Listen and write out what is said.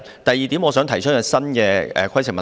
第二，我想提出一項新的規程問題。